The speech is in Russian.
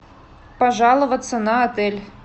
пожаловаться на отель